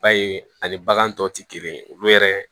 Ba ye ani bagan tɔw tɛ kelen ye olu yɛrɛ